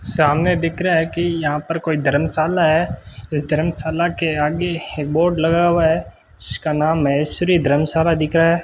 सामने दिख रहा है कि यहां पर कोई धर्मशाला है इस धर्मशाला के आगे ही बोर्ड लगा हुआ है जिसका नाम माहेश्वरी धर्मशाला दिखा है।